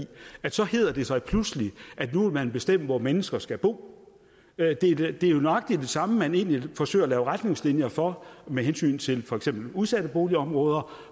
så hedder det sig pludselig at nu vil man bestemme hvor mennesker skal bo det er jo nøjagtig det samme man egentlig forsøger at lave retningslinjer for med hensyn til for eksempel udsatte boligområder